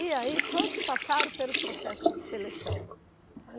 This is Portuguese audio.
E aí todos passaram pelo processo de seleção.